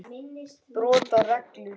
Brot á reglu.